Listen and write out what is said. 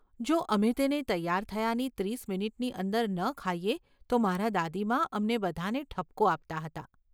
જો અમે તેને તૈયાર થયાની ત્રીસ મિનિટની અંદર ન ખાઈએ તો મારાં દાદીમા અમને બધાને ઠપકો આપતાં હતાં.